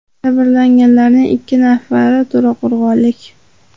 Jabrlanganlarning ikki nafari to‘raqo‘rg‘onlik.